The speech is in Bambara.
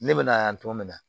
Ne bɛ na yan tɔn bɛ na